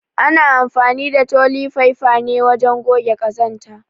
ana anfani da toli faifa ne wajen goge ƙazanta.